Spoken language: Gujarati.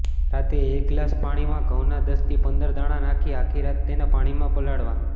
રાત્રે એક ગ્લાસ પાણીમાં ઘઉંના દસથી પંદર દાણા નાખી આખી રાત તેને પાણીમાં પલાળવા